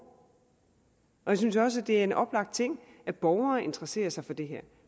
jeg synes også det er en oplagt ting at borgere interesserer sig for det her